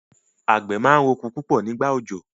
àgbẹ̀ máa ń rọ oko púpọ̀ nígbà òjò.